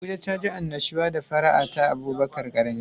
Abuja taji annashuwa da fara'a ta Abubakar karami.